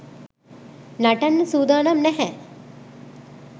නටන්න සූදානම් නැහැ.